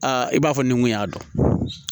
Aa i b'a fɔ nin kun y'a dɔn